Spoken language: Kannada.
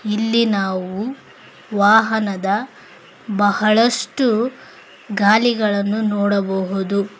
ಇಲ್ಲಿ ನಾವು ವಾಹನದ ಬಹಳಷ್ಟು ಗಾಲಿಗಳನ್ನು ನೋಡಬಹುದು.